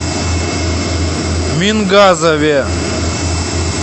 мингазове